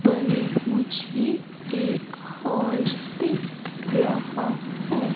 पर मुझे एक हॉल दिख रहा है।